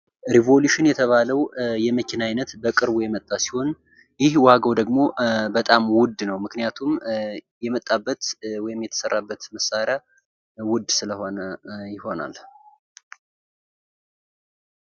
ሪቭኦሉሽን የተባለው የመኪና አይነት በቅርብ የመጣ ሲሆን ይህ ዋጋ ደግሞ በጣም ዉድ ነው ምክንያቱም የመጣበት ወይም የተሰራበት መሳሪያ ዉድ ስለሆነ ይሆናል::